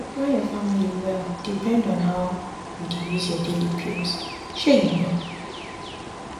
to plan your family well depend on how you dey use your daily pills shey you know